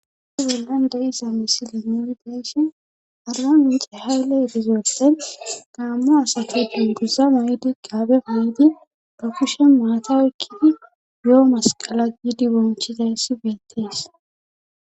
Issi bollan de iza misile nuuri deeshen adra ince haylle erizoossen gaamma asato tunduza muydi gaabe huydi bafushen maata ykkidi yo'o masqala giidi bonchiza yyssi beettees.